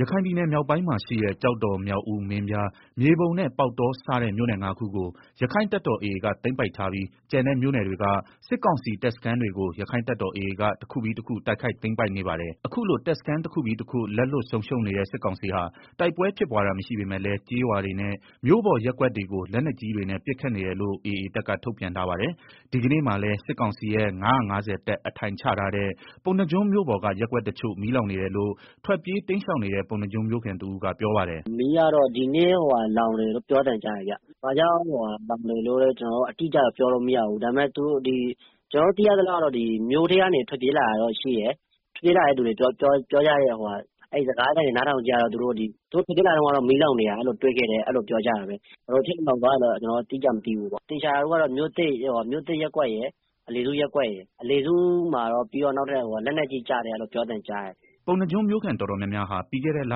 ရခိုင်ပြည်နယ်မြောက်ပိုင်းမှာရှိတဲ့ ကျောက်တော် မြောက်ဦး မင်းပြား မြေပုံနဲ့ ပေါက်တောစတဲ့ မြို့နယ် ၅ ခုကို ရက္ခိုင့်တပ်တော် AA က သိမ်းပိုက်ထားပြီး ကျန်တဲ့ မြို့နယ်တွေက စစ်ကောင်စီ တပ်စခန်းတွေကို ရက္ခိုင့်တပ်တော် AA က တခုပြီးတခု တိုက်ခိုက်သိမ်းပိုက်နေပါတယ်။ အခုလို တပ်စခန်း တခုပြီးတခု လက်လွတ်ဆုံးရှုံးနေတဲ့ စစ်ကောင်စီဟာ တိုက်ပွဲဖြစ်ပွားတာမရှိပေမဲ့လည်း ကျေးရွာတွေနဲ့၊ မြို့ပေါ်ရပ်ကွက်တွေကို လက်နက်ကြီးတွေနဲ့ ပစ်ခတ်နေတယ်လို့ AA တပ်က ထုတ်ပြန်ထားပါတယ်။ ဒီကနေ့ မှာလည်း စစ်ကောင်စီရဲ့ ၅၅ဝ တပ်အထိုင်ချထားတဲ့ ပုဏ္ဏားကျွန်းမြို့ပေါ်က ရပ်ကွက်တချို့ မီးလောင်နေတယ်လို့ ထွက်ပြေးတိမ်းရှောင်နေတဲ့ ပုဏ္ဏားကျွန်းမြို့ခံ တဦးကပြောပါတယ်။ “ မီးကတော့ ဒီနေ့လောင်နေတယ်လို့ ပြောသံကြားပါတယ်။ ဘာကြောင့် လောင်တယ် ဆိုတာ လည်း ကျနော်တို့ အတိအကျပြောလို့မရဘူး၊ မြို့ထဲကနေ ထွက်ပြေးလာကြတဲ့ သူတွေရဲ့ စကားအရတော့ သူတို့ ထွက်ပြေးလာတုန်းက မီးလောင်နေတာတွေ့ခဲ့တယ်၊ ဘယ်လိုဖြစ်လို့ လောင်သွားတာလဲ ကျနော်တို့ အတိအကျမသိဘူး။ သေချာတာကတော့ မြို့သစ်ရပ် ကွက် ရယ် အလယ်စုရပ်ကွက်ရယ်၊ အလယ်စုရပ်ကွက်မှာ လက်နက်ကြီး ကျတယ်လို့လည်း ပြောသံကြားတယ်။” ပုဏ္ဏားကျွန်းမြို့ခံတော်တော်များများဟာ ပြီးခဲ့တဲ့ လ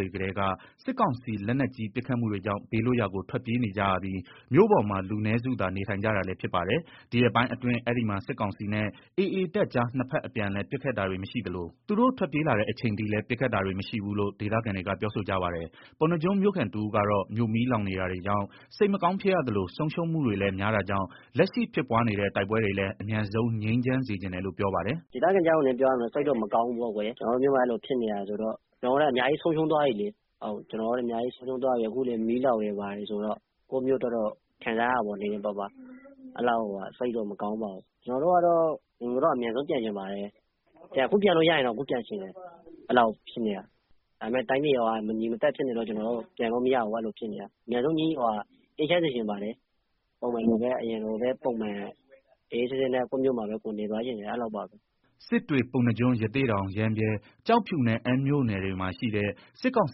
တွေကတည်းက စစ်ကောင်စီလက်နက်ကြီးပစ်ခတ်မှုတွေကြောင့် ဘေးလွတ်ရာကို ထွက်ပြေးနေကြရပြီး မြို့ပေါ်မှာ လူနည်းစုသာ နေထိုင်ကြတာလည်းဖြစ်ပါတယ်။ ဒီရက်ပိုင်း အတွင်း အဲဒီမှာ စစ်ကောင်စီနဲ့ AAတပ်ကြားနှစ်ဖက်အပြန်အလှန်ပစ်ခတ်တာတွေမရှိသလို သူတို့ထွက်ပြေးလာတဲ့ အချိန်အထိလည်း ပစ်ခတ်တာတွေမရှိဘူးလို့ ဒေသခံတွေက ပြောဆိုကြပါတယ်။ ပုဏ္ဏားကျွန်းမြို့ခံတဦးကတော့ မြို့မီးလောင်နေတာကြောင့် စိတ်မကောင်းဖြစ်ရသလို ဆုံးရှုံးမှုတွေလည်း များတာကြောင့်လက်ရှိဖြစ်ပွားနေတဲ့ တိုက်ပွဲတွေလည်း အမြန်ဆုံး ငြိမ်းချမ်းစေချင်တယ်လို့ ပြောပါတယ်။ “ ဒေသခံတယောက်အနေနဲ့ ပြောရရင်စိတ်တော့မကောင်းဘူးပေါ့ အကိုရယ်၊ကျနော်တို့ မြို့ မှာ အဲလို ဖြစ်နေတာဆိုတော့၊ ကျနော်တို့လည်း အများကြီး ဆုံးရှုံးသွားပြီလေ၊ အခုလည်း မီးလောင်တယ်ဘာတယ်ဆိုတော့ စိတ်တော့မကောင်းပါဘူး ခံစားရပါတယ်။ ကျနော်တို့အိမ် ကို အမြန်ဆုံးပြန်ချင်ပါတယ်၊ အခုပြန်လို့ရရင်တောင် အခုပြန်ချင်တယ် အဲလိုဖြစ်နေတာဒါပေ မယ့် တိုင်းပြည်က မငြိမ်မသက်ဖြစ်နေတော့ ပြန်လို့မရဘူး။ အမြန်ဆုံးအေးချမ်း စေချင်ပါတယ် အရင်လိုပဲ ကို်ယ့်မြို့မှာ အေးအေးချမ်းချမ်းနေသွားချင်ပါတယ်။” စစ်တွေ ပုဏ္ဏားကျွန်း၊ ရသေ့တောင် ရမ်းဗြဲ၊ ကျောက်ဖြူနဲ့ အမ်းမြို့နယ်တွေမှာရှိတဲ့ စစ်ကောင်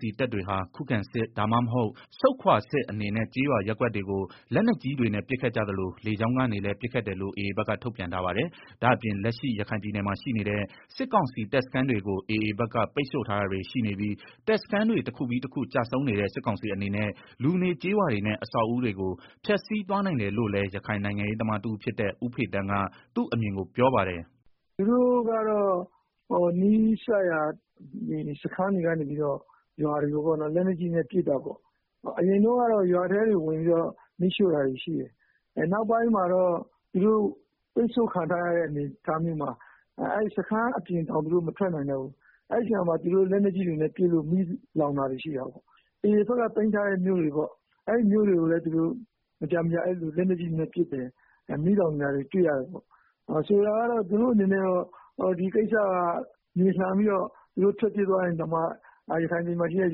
စီတပ်တွေဟာ ခုခံစစ်၊ ဒါမှမဟုတ် ဆုတ်ခွာစစ်အနေနဲ့ ကျေးရွာ ရပ်ကွက်တွေ ကို လက်နက်ကြီးတွေနဲ့ ပစ်ခတ်ကြသလို လေကြောင်းကနေလည်း ပစ်ခတ်တယ်လို့ AAဘက်က ထုတ်ပြန်ထားပါတယ်။ ဒါ့အပြင် လက်ရှိရခိုင်ပြည်နယ်မှာ ရှိနေတဲ့ စစ်ကောင်စီတပ်စခန်းတွေကို AAဘက်က ပိတ်ဆို့ထားတာတွေရှိနေပြီး တပ်စခန်းတွေတခုပြီးတခုကျဆုံးနေတဲ့ စစ်ကောင်စီအနေနဲ့ လူနေကျေးရွာတွေနဲ့ အဆောက်အဦးတွေကို ဖျက်စီးသွားနိုင်တယ်လို့လည်း ရခိုင်နိုင်ရေး သမားတဦးဖြစ်တဲ့ ဦးဖေသန်းက သူ့အမြင်ကိုပြောပါတယ်။ “ သူတို့ကတော့ နီးစပ်ရာစခန်းတွေက နေပြီးတော့ ရွာတွေကို လက်နက်ကြီးနဲ့ ပစ်တာပေါ့၊ အရင်တုန်းကတော့ ရွာထဲတွေ ဝင်ပြီးတော့ မီးရှို့တာတွေရှိတယ်၊ နောက်ပိုင်းမှာတော့ သူတို့ ပိတ်ဆို့ခံထားရတဲ့ အနေအထားမျိုးမှာ၊ စခန်းအပြင်တောင် သူတို့ မထွက်နိုင်တော့ဘူး၊ အဲဒီ မှာသူတို့ လက်နက်ကြီးတွေနဲ့ ပစ်လို့ မီးလောင်တာတွေရှိတယ်၊ AAဘက်က သိမ်းထားတဲ့ မြို့တွေကိုလည်း လက်နက်ကြီးနဲ့ မကြာမကြာ ပစ်တာတွေတွေ့ရတယ်၊ဆိုလိုတာက သူတို့ အနေနဲ့ ဒီကိစ္စက သူတို့ထွက်ပြေးသွားရင်တောင်မှ ရခိုင်ပြည်နယ်မှာရှိတဲ့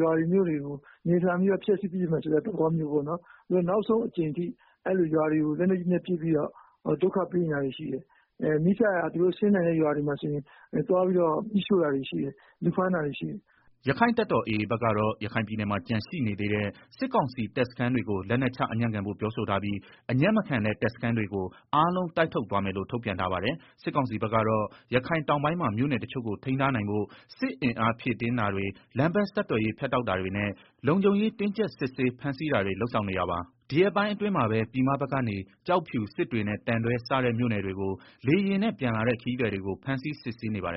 ရွာတွေ မြို့တွေကို မြေလှန်ပြီးတော့ ဖျက်စီးပစ်မယ်ဆိုတဲ့ သဘောမျိုးပေါ့နော်၊ နောက်ဆုံးအကြိမ်ထိ ရွာတွေကို လက်နက်ကြီးနဲ့ ပစ်ပြီးတော့ ဒုက္ခပေးနေတာရှိတယ်။ နီးစပ်ရာ သူတို့ ဆင်းနိုင်တဲ့ ရွာတွေကို မီးရှို့တာတွေရှိတယ် လူဖမ်းတာတွေရှိတယ်။” ရက္ခိုင့်တပ်တော် AA ဘက်ကတော့ ရခိုင်ပြည်နယ်မှာ ကျန်ရှိနေသေးတဲ့ စစ်ကောင်စီတပ်စခန်းတွေကို လက်နက်ချအညံ့ခံဖို့ ပြောဆိုထားပြီး အညံ့မခံတဲ့ တပ်စခန်းတွေကို အားလုံးကို တိုက်ထုတ်သွားမယ်လို့ ထုတ်ပြန်ထားပါတယ်။ စစ်ကောင်စီဘက်ကတော့ ရခိုင်တောင်းပိုင်းမှာ မြို့နယ်တချို့ကို ထိန်းထားနို်င်ဖို့ စစ်အင်အားဖြည့်တင်းတာတွေ လမ်းပန်းဆက်သွယ်ရေးဖြတ်တောက်တာတွေနဲ့ လုံးခြုံရေးတင်းကြပ်စစ်ဆေးဖမ်းဆီးတာတွေလုပ်ဆောင်နေတာပါ။ ဒီရက်ပိုင်းအတွင်းမှာပဲ ပြည်မဘက်ကနေ ကျောက်ဖြူ စစ်တွေနဲ့ သံတွဲစတဲ့မြို့နယ်တွေ လေယာဉ်နဲ့ ပြန်လာတဲ့ခရီးသည်တွေကို ဖမ်းဆီးစစ်ဆေးနေပါတယ်